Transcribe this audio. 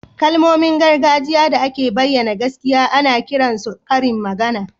Kalmomin gargajiya da ke bayyana gaskiya ana kiran su karin magana